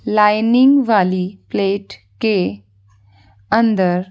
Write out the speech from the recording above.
lining वाली plate के अंदर--